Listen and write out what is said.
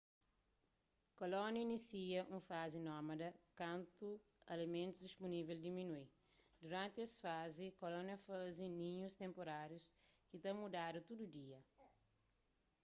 kolónia inisia un fazi nómada kantu alimentus dispunível diminui duranti es fazi kólonia ta faze ninhus tenpurárius ki ta mudadu tudu dia